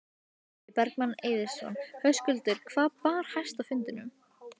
Logi Bergmann Eiðsson: Höskuldur hvað bar hæst á fundinum?